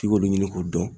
F'i k'olu ɲini k'o dɔn